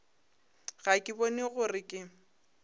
ga ke bone gore ke